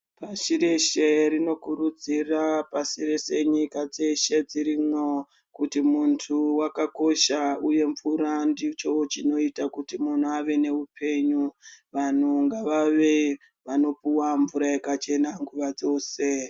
Pashi reshe rinokurudzira pasi rese nyika dzese dzirimwo kuti muntu wakakosha uye mvura ndicho chinoita kuti munhu ave noupenyu. Vanhu ngavave vanopuwa mvura yakachena nguva dzose.